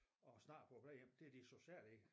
Og snakker på æ plejehjem det er det sociale i det